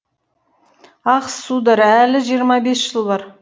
ах сударь әлі жиырма бес жыл бар